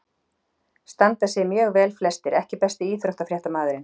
Standa sig mjög vel flestir EKKI besti íþróttafréttamaðurinn?